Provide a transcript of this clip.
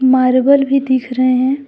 Marble भी दिख रहे हैं।